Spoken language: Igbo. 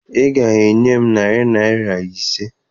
Ị ga-enye m narị naịra ise!